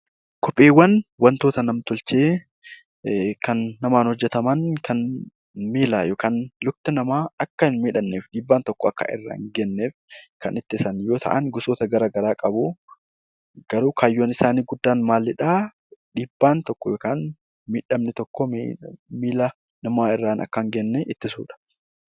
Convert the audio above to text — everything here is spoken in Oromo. Kopheewwan waantota nam-tolchee kan namaan hojjetaman miila yookaan lukti namaa akka hin miidhamneef, miidhaan tokko akka irra hin geenyeef kan ittisan yoo ta'an, gosoota garaagaraa qabu. Garuu kaayyoo isaanii guddaan dhiibbaan tokko yookaan miidhaan tokko miila namaa irra akka hin geenye ittisuudha.